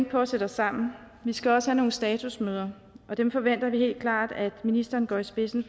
på at sætte os sammen vi skal også have nogle statusmøder og dem forventer vi helt klart at ministeren går i spidsen